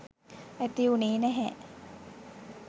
ඇති වුනේ නැහැ